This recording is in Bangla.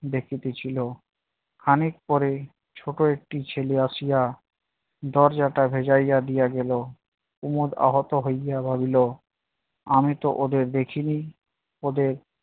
দেখিতছিলো। খানিক পরেই ছোট একটি ছেলে আসিয়া দরজাটা ভেজাইয়া দিয়া গেলো। কুমদ আহত হইয়া ভাবিল- আমিতো ওদের দেখিনি ওদের